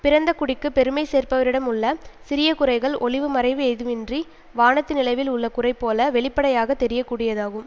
பிறந்த குடிக்குப் பெருமை சேர்ப்பவரிடமுள்ள சிறிய குறைகள் ஒளிவு மறைவு ஏதுமின்றி வானத்து நிலவில் உள்ள குறைபோல வெளிப்படையாக தெரிய கூடியதாகும்